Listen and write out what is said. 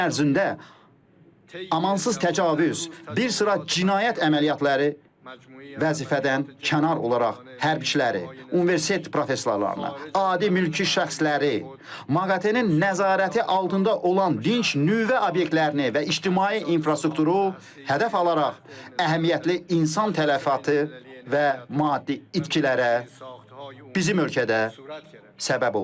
12 gün ərzində amansız təcavüz, bir sıra cinayət əməliyyatları vəzifədən kənar olaraq hərbçiləri, universitet professorlarını, adi mülki şəxsləri, MAQATE-nin nəzarəti altında olan dinc nüvə obyektlərini və ictimai infrastrukturu hədəf alaraq əhəmiyyətli insan tələfatı və maddi itkilərə bizim ölkədə səbəb oldu.